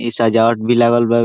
इ सजावट भी लागल बा।